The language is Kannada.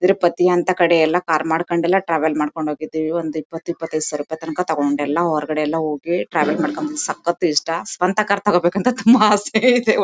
ತಿರುಪತಿ ಅಂಥ ಕಡೆಯೆಲ್ಲಾ ಕಾರ್ ಮಾಡ್ಕಂಡೆಲ ಟ್ರಾವೆಲ್ ಮಾಡ್ಕೊಂಡ್ ಹೋಗಿದ್ದಿವಿ ಒಂದ್ ಇಪ್ಪತ್ತು ಇಪ್ಪತೈದು ಸಾವಿರ ರೂಪಾಯಿ ತನಕ ತಕೊಂಡೆಲ್ಲ ಹೊರಗಡೆ ಎಲ್ಲಾ ಹೋಗಿ ಟ್ರಾವೆಲ್ ಮಾಡ್ಕೊಂಡ್ ಬಂದ್ವಿ ಸಕ್ಕತ್ ಇಷ್ಟ ಸ್ವಂತ ಕಾರ್ ತಗೋಬೇಕು ಅಂತ ತುಂಬಾ ಆಸೆ ಇದೆ.